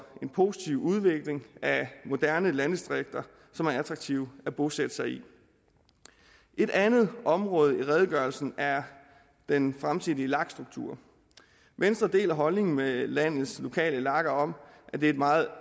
en positiv udvikling af moderne landdistrikter som er attraktive at bosætte sig i et andet område i redegørelsen er den fremtidige lag struktur venstre deler den holdning med landets lokale lager at det er meget